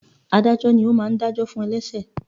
Ádájọ́ ni ó máa ń dá jọ fún ẹlẹṣẹ.